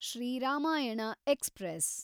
Shri Ramayana express